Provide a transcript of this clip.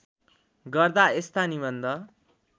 गर्दा यस्ता निबन्ध